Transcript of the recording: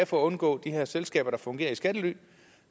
for at undgå de her selskaber der fungerer i skattely